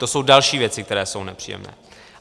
To jsou další věci, které jsou nepříjemné.